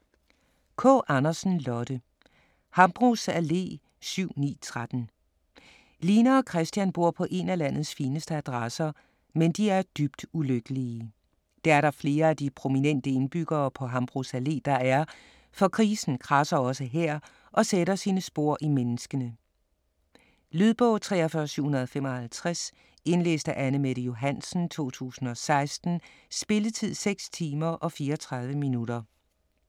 Kaa Andersen, Lotte: Hambros Allé 7-9-13 Line og Kristian bor på én af landets fineste adresser - men de er dybt ulykkelige. Det er der flere af de prominente indbyggere på Hambros Allé, der er, for krisen kradser også her og sætter sine spor i menneskene. Lydbog 43755 Indlæst af Anne-Mette Johansen, 2016. Spilletid: 6 timer, 34 minutter.